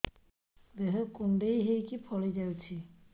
ଦେହ କୁଣ୍ଡେଇ ହେଇକି ଫଳି ଯାଉଛି